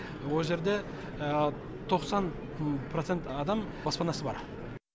о жерде тоқсан процент адам баспанасы бар